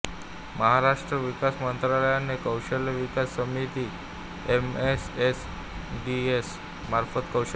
महाराष्ट्र विकास मंत्रालयाने कौशल्य विकास समिती एमएसएसडीएस मार्फत कौशल्य